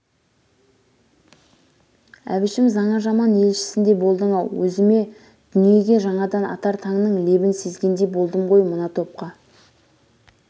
әбішім жаңа заман елшісіндей болдың-ау өзіме дү-ниеге жаңадан атар таңның лебін сезгендей болдым ғой мына топқа